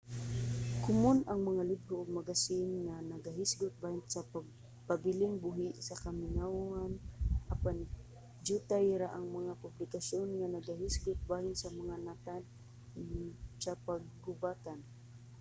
komon ang mga libro ug magasin nga nagahisgot bahin sa pagpabiling buhi sa kamingawan apan dyutay ra ang mga publikasyon nga nagahisgot bahin sa mga natad sa panggubatan